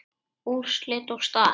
Úrslit og staða